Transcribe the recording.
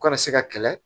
U kana se ka kɛlɛ